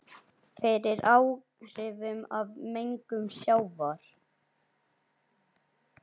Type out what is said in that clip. fyrir áhrifum af mengun sjávar.